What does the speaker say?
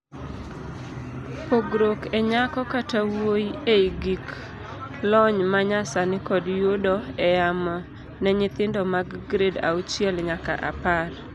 pogruok e nyako kata wuoyi ei gik lony manyasani kod yudo e yamo ne nyithindo mag grade auchiel nyaka apar